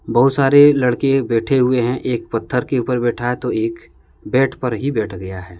बहुत सारे लड़के बैठे हुए हैं। एक पत्थर के ऊपर बैठा है तो एक बैट पर ही बैठ गया है।